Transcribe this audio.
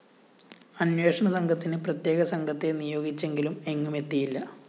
അന്വേഷണത്തിന് പ്രത്യേക സംഘത്തെ നിയോഗിച്ചെങ്കിലും എങ്ങുമെത്തിയില്ല